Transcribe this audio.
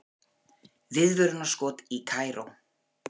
Viðvörunarskot í Kaíró